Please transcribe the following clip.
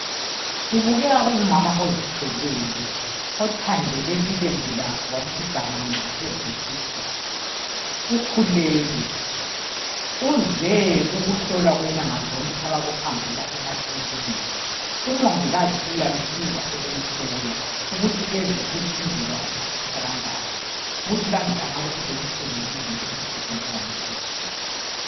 Kubukeka kungumama ozithweleyo, othandele ilembu lakhe walithi gamanxaphezu kwesisu, ukhulelwe. Uze ukuhlolwa kwenyanga zonke abakuhambela emakiliniki. Umongikazi uyamsiza ukuthi ezwe ukuthi umzimba wakhe utshisa kanganani , ukuthi kakabi lenhlungu yini njengomuntu ozithweleyo.